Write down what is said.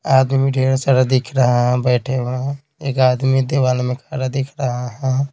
आदमी ढ़ेर सारा दिख रहा है बैठे हुए हैं एक आदमी दीवाल में खड़ा दिख रहा है।